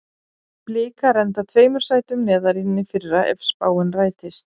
Blikar enda tveimur sætum neðar en í fyrra ef spáin rætist.